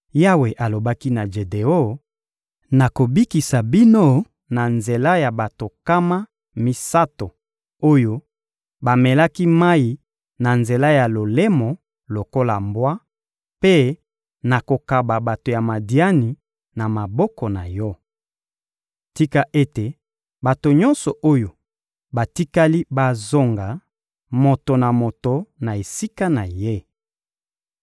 Yawe alobaki na Jedeon: «Nakobikisa bino na nzela ya bato nkama misato oyo bamelaki mayi na nzela ya lolemo lokola mbwa, mpe nakokaba bato ya Madiani na maboko na yo. Tika ete bato nyonso oyo batikali bazonga, moto na moto na esika na ye.»